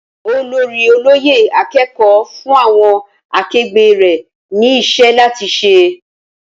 Olórí olóyè akẹ́kọ̀ọ́ fún àwọn akegbé rè ni iṣẹ́ láti ṣe